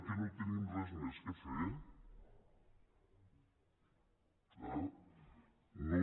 que no tenim res més a fer ah